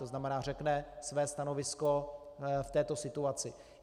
To znamená řekne své stanovisko v této situaci.